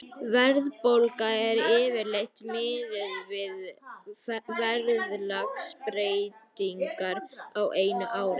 Verðbólga er yfirleitt miðuð við verðlagsbreytingar á einu ári.